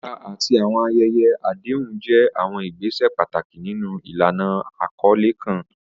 Ìbúra àti àwọn ayẹyẹ àdéhùn jẹ́ àwọn ìgbésẹ̀ pàtàkì nínú ìlànà àkọlé kan.